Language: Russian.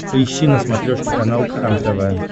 поищи на смотрешке канал кхлм тв